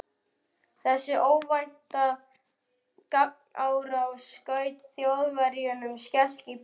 Þessi óvænta gagnárás skaut Þjóðverjunum skelk í bringu.